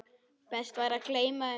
Best væri að gleyma þeim.